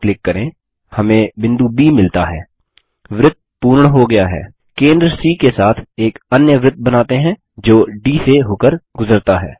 केंद्र सी के साथ एक अन्य वृत्त बनाते हैं जो डी से होकर गुजरता है